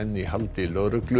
í haldi lögreglu